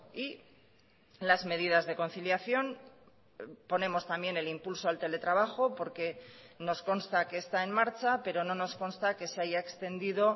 y las medidas de conciliación ponemos también el impulso al teletrabajo porque nos consta que está en marcha pero no nos consta que se haya extendido